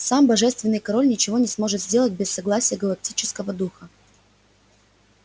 сам божественный король ничего не сможет сделать без согласия галактического духа